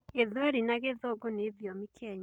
Gĩthweri na gĩthũngũ nĩ thiomi Kenya.